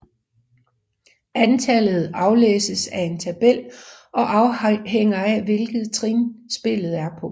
Antallet aflæses af en tabel og afhænger af hvilket trin spillet er på